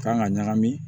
Kan ka ɲagami